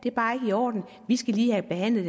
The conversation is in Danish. er bare ikke i orden vi skal lige have behandlet